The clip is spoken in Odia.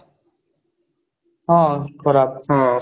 ହଁ ଖରାପ ହଁ